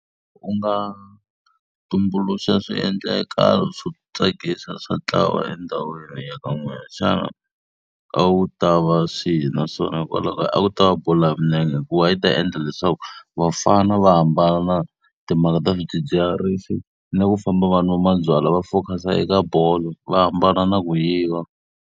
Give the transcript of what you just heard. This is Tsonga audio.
U nga tumbuluxa swiendlekalo swo tsakisa swa ntlawa endhawini ya ka n'wina, xana a ku ta va swihi naswona hikwalaho ka. A wu ta va va bolo ya milenge hikuva yi ta endla leswaku vafana va hambana na timhaka ta swidzidziharisi na ku famba va nwa mabyalwa va focus-a eka bolo, va hambana na ku yiva.